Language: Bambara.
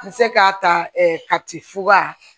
N bɛ se k'a ta kati fuga